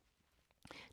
DR K